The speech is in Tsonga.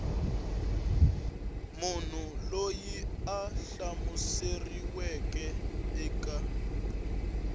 munhu loyi a hlamuseriweke eka